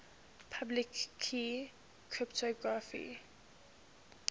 public key cryptography